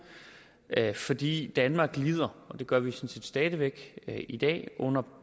fordi danmark lider og det gør vi sådan set stadig væk i dag under